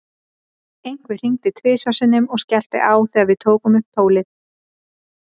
Einhver hringdi tvisvar sinnum og skellti á þegar við tókum upp tólið.